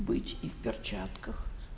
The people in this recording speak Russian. быть и в перчатках